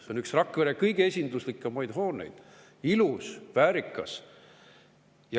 See on üks Rakvere kõige esinduslikumaid hooneid – ilus, väärikas.